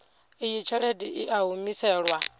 iyi tshelede i a humiselwa